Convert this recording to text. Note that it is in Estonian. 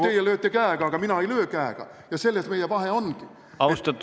Teie lööte käega, aga mina ei löö käega, ja selles meie vahe ongi.